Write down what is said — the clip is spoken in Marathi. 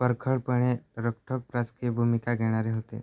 परखडपणे रोखठोक राजकीय भूमिका घेणारे होते